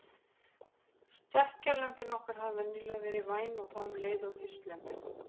Stekkjarlömbin okkar hafa venjulega verið væn og þá um leið haustlömbin.